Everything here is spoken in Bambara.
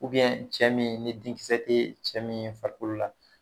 cɛ min ni denkisɛ tɛ cɛ min farikolo la